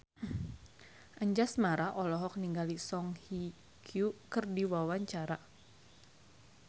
Anjasmara olohok ningali Song Hye Kyo keur diwawancara